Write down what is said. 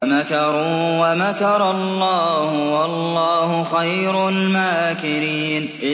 وَمَكَرُوا وَمَكَرَ اللَّهُ ۖ وَاللَّهُ خَيْرُ الْمَاكِرِينَ